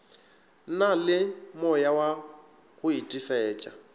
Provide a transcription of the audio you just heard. na le moyawa go itefetša